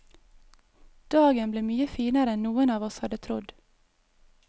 Dagen ble mye finere enn noen av oss hadde trodd.